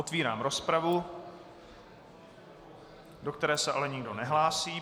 Otvírám rozpravu, do které se ale nikdo nehlásí.